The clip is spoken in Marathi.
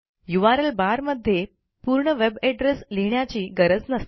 यूआरएल बार मध्ये पूर्ण वेब एड्रेस लिहिण्याची गरज नसते